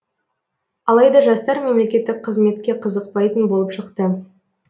алайда жастар мемлекеттік қызметке қызықпайтын болып шықты